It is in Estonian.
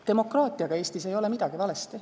Demokraatiaga ei ole Eestis midagi valesti.